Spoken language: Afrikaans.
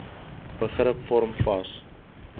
begrip vorm vas